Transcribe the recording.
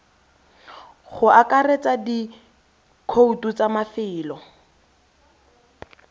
go akaretsa dikhoutu tsa mafelo